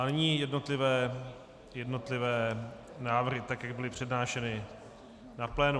A nyní jednotlivé návrhy, tak jak byly přednášeny na plénu.